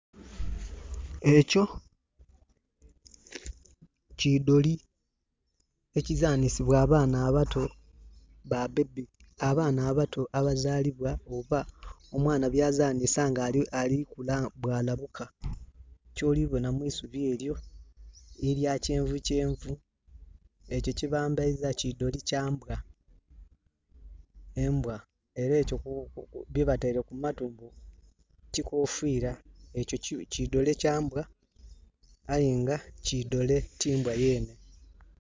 Ekyo ki doli ekizanhisibwa abaana abato, ba bebi, abana abato abazalibwa oba omwana byazanhisa nga ali kula bwa labuka. Kyoli bonha mu isubi elyo elya kyenvu kyenvu ekyo kye bambeiza ki doli kyambwa, embwa. Era ekyo byebateire ku matu kikofira, ekyo ki doli kya mbwa aye nga ki doli ti mbwa yeene.